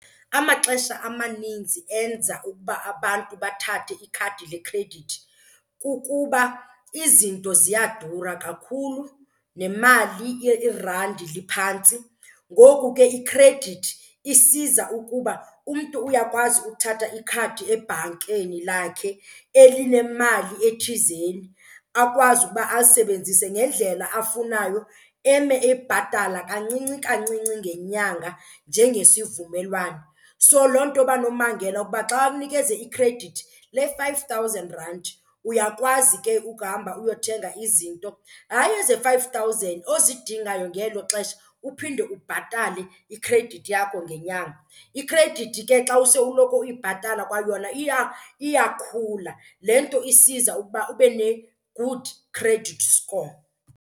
Amaxesha amaninzi enza ukuba abantu bathathe ikhadi lekhredithi kukuba izinto ziyadura kakhulu nemali irandi liphantsi. Ngoku ke ikhredithi isiza ukuba umntu uyakwazi uthatha ikhadi ebhankeni lakhe elinemali ethizeni akwazi ukuba alisebenzise ngendlela afunayo eme ebhatala kancinci kancinci ngenyanga njengesivumelwano. So loo nto uba nombangela uba xa umnikeze ikhredithi le-five thousand rand uyakwazi ke ukuhamba uyothenga izinto, hayi eze-five thousand, ozidingayo ngelo xesha uphinde ubhatale ikhredithi yakho ngenyanga. Ikhredithi ke xa use uloko uyibhatala kwayona iyakhula, le nto isiza ukuba ube ne-good credit score.